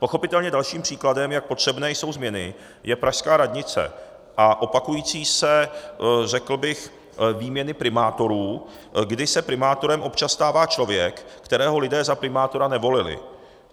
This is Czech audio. Pochopitelně dalším příkladem, jak potřebné jsou změny, je pražská radnice a opakující se řekl bych výměny primátorů, kdy se primátorem občas stává člověk, kterého lidé za primátora nevolili.